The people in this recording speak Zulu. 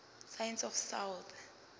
science of south